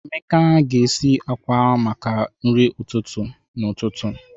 Emeka ga-esi akwa akwa maka nri ụtụtụ n'ụtụtụ.